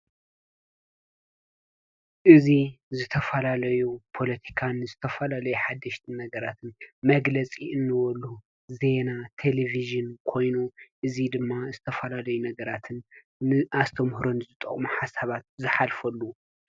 እዚ ዝተፈላለዩ ፖለቲካን ዝተፈላለዩ ሓደሽቲ ነገራትን መግለፂ እንበሉ ዜና ቴሌቪዥን ኮይኑ እዚ ድማ ዝተፈላለዩ ነገራት ንአስተምህሮን ዝጠቅሙ ሓሳባት ዝሓልፈሉን እዩ፡፡